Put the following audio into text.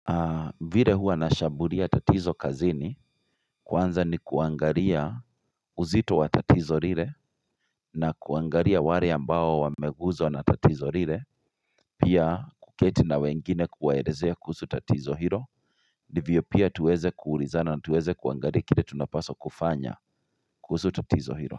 Vile huwa nashambulia tatizo kazini kwanza ni kuangalia uzito wa tatizo lile na kuangalia wale ambao wameguzwa na tatizo lile pia kuketi na wengine kuwaelezea kuhusu tatizo hilo ndivyo pia tuweze kuulizana na tuweze kuangalia kile tunapaswa kufanya kuhusu tatizo hilo.